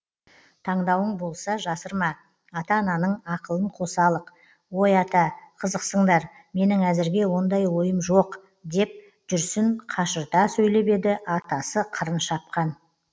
таңдауың болса жасырма ата ананың ақылын қосалық ой ата қызықсыңдар менің әзірге ондай ойым жоқ деп жүрсін қашырта сөйлеп еді атасы қырын шапқан